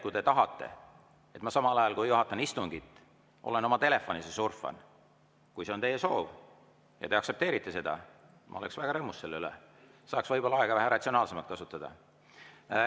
Kui te tahate, et ma samal ajal, kui juhatan istungit, olen oma telefonis ja surfan, kui see on teie soov ja te aktsepteerite seda, siis ma oleksin väga rõõmus selle üle, saaks võib-olla aega vähe ratsionaalsemalt kasutada.